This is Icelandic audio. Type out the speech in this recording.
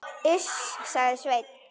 Iss, sagði Sveinn.